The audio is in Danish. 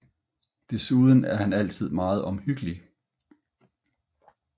Desuden er han altid meget omhyggelig